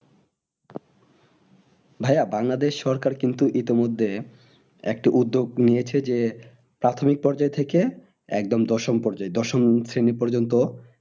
ভাইয়া বাংলাদেশ সরকার কিন্তু ইতিমধ্যে একটি উদ্যোগ নিয়েছে যে প্রাথমিক পর্যায় থেকে একদম দশম দশম শ্রেণী পর্যন্ত